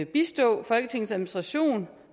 bistå folketingets administration